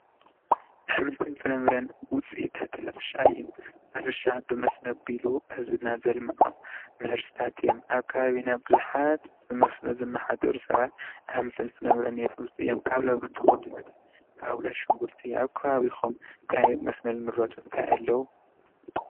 ኣሕምልትን ፍራምረን ውፅኢታት ሕርሻ እዩ፡፡ ሕርሻ ብሞስኖ ኣቢሉ ህዝብና ዘልምዖ ምህርትታት እዮም፡፡ ኣብ ከባቢና ቡዙሓት ብሞስኖ ዝመሓደሩ ሰባት ኣሕምልትን ፍራምረን የምርቱ እዮም፡፡ ካብ ዘምርትዎም ከብሎ፣ ሽጉርቲ። ኣብ ከባቢኩም እንታይ ብመስኖ ዝምረቱ እንታይ ኣለዉ?